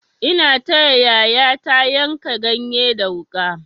Ina taya yayata yanka ganye da wuƙa.